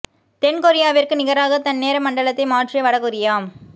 தென் கொரியாவிற்கு நிகராக தன் நேர மண்டலத்தை மாற்றிய வட கொரியா